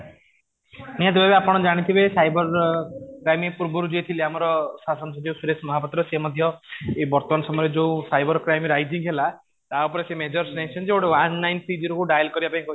ନିହାତି ଭାବେ ଆପଣ ଜାଣିଥିବେ ସାଇବର କ୍ରାଇମ ପୂର୍ବରୁ ଯିଏ ଥିଲେ ଆମର ଶାସନ ସଚିବ ସୁରେଶ ମହାପାତ୍ର ସେ ମଧ୍ୟ ଏଇ ବର୍ତ୍ତମାନ ସମୟ ରେ ଯୋଉ ସାଇବର କ୍ରାଇମ rising ହେଲା ତା ଉପରେ ସେ major ନେଇଛନ୍ତି ଯୋଉ ଗୋଟେ one nine zero three କୁ dial କରିବା ପାଇଁ